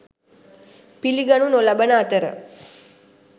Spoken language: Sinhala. පිළිගනු නොලබන අතර